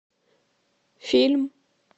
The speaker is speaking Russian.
фильм